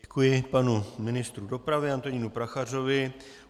Děkuji panu ministru dopravy Antonínu Prachařovi.